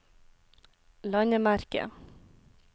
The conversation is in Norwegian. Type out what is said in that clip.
landemerke